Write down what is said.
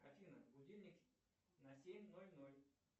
афина будильник на семь ноль ноль